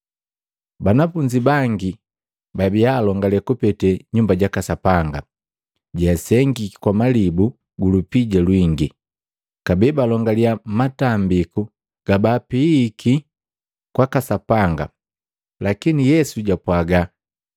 Banafunzi bangi babia alongale kupete Nyumba jaka Sapanga, jeasengiki kwa malibu gu lupija lwingi, kabee balongalia matambiku gabaapihihiki kwaka Sapanga. Lakini Yesu japwaga,